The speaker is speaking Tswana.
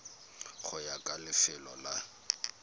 go ya ka lefelo la